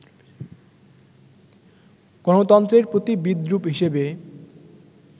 গণতন্ত্রের প্রতি বিদ্রূপ হিসেবে